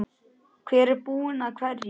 Hver er búinn að hverju?